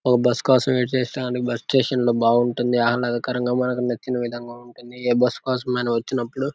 ఒక బస్సు కోసం వెయిట్ చేస్తుండానికి బస్ స్టేషన్ లో బావుంటుంది ఆహ్లాదకరంగా మనకు నచ్చిన విధంగా ఉంటుంది ఏ బస్ కోసం మనం వచ్చినప్పుడు --